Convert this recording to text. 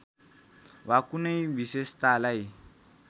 वा कुनै विशेषतालाई